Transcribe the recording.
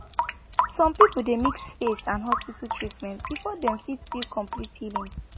some people dey mix faith and hospital treatment before dem fit feel complete healing